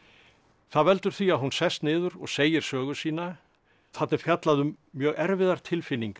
það veldur því að hún sest niður og segir sögu sína þarna er fjallað um mjög erfiðar tilfinningar